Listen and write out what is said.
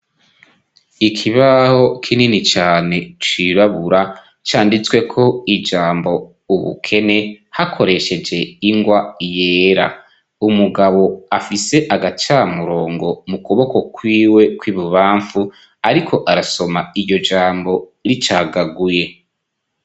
Ikibaho kinini cane cirabura canditsweko ijambo ubukene hakoresheje ingwa yera, umugabo afise agacamurongo mu kuboko kwiwe kw'ibubamfu ariko arasoma iryo jambo ricagaguye.